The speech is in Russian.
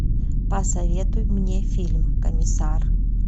посоветуй мне фильм комиссар